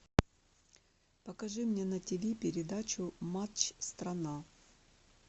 покажи мне на тиви передачу матч страна